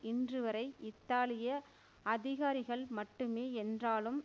இன்று வரை இத்தாலிய அதிகாரிகள் மட்டுமே என்றாலும்